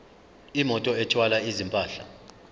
imoto ethwala izimpahla